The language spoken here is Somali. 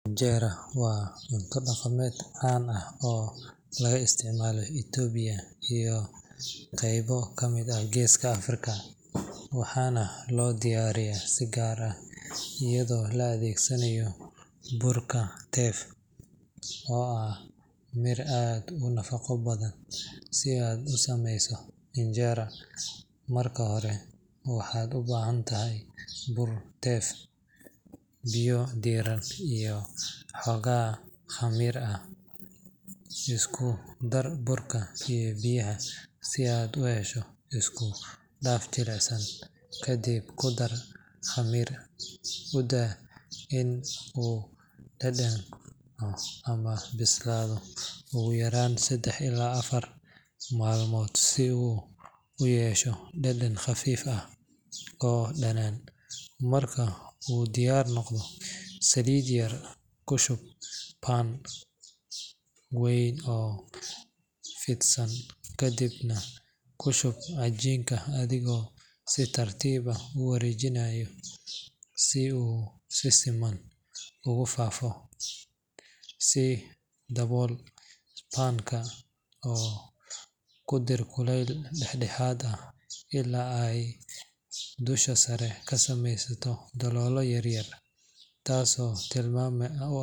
Injera waa cunto dhaqameed caan ah oo laga isticmaalo Itoobiya iyo qaybo kamid ah Geeska Afrika, waxaana loo diyaariyaa si gaar ah iyadoo la adeegsanayo burka teff, oo ah mir aad u nafaqo badan. Si aad u samayso injera, marka hore waxaad u baahan tahay bur teff, biyo diirran, iyo xoogaa khamiir ah. Isku dar burka iyo biyaha si aad u hesho isku dhaf jilicsan, kadibna ku dar khamiirka. U daa in uu dhadhanco ama bislaado ugu yaraan saddex ilaa afar maalmood si uu u yeesho dhadhan khafiif ah oo dhanaan. Marka uu diyaar noqdo, saliid yar ku shub pan weyn oo fidsan, kadibna ku shub cajiinkii adigoo si tartiib ah u wareejinaya si uu si siman ugu faafayo. Ku dabool pan-ka oo ku rid kulayl dhexdhexaad ah ilaa ay dusha sare ka samaysmaan daloollo yaryar, taasoo tilmaam u ah.